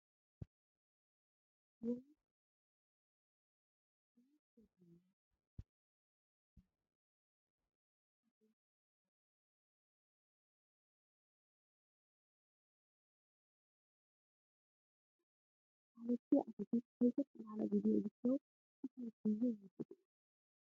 Wolaytta dichcha citay kuwasiya dembban kuwasiya bululisidi de'iyo pootuwaa denttidi yedidoge de'ees. Ayse diga hagaa wolaytta dichcha kuwasiyaa cita kaaletiya asati kayso xalala gidiyo gishshawu citay guye yiidi de'ees.